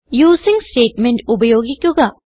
using statement ഉപയോഗിക്കുക